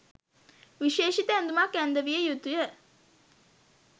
විශේෂිත ඇඳුමක් ඇන්දවිය යුතුය.